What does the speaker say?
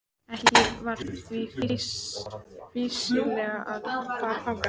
Ekki var því fýsilegt að fara þangað.